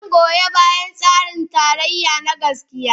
Zan goyi bayan tsarin tarayya na gaskiya